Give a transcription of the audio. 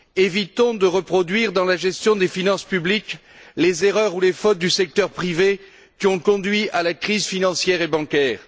Évitons de reproduire dans la gestion des finances publiques les erreurs ou les fautes du secteur privé qui ont conduit à la crise financière et bancaire.